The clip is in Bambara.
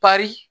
Bari